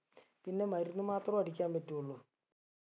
പിന്നെ മരുന്ന് മാത്രൊ അടിക്കാൻ പറ്റുള്ളൂ